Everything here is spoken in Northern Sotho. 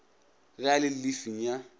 ge a le llifing ya